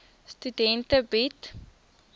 studente bied